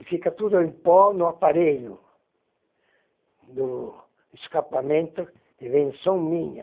E fica tudo em pó no aparelho do escapamento invenção minha.